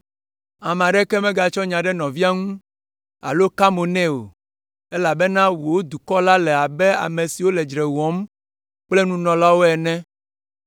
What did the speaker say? “Ame aɖeke megatsɔ nya ɖe nɔvia ŋu alo aka mo nɛ o, elabena wò dukɔ la le abe ame siwo le dzre wɔm kple nunɔlawo ene.